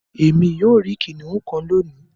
Èmi yóò ríi kìnìún kán lóni.